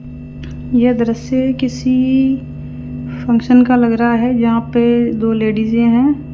यह दृश्य किसी फंक्शन का लग रा है यहां पे दो लेडीजे है।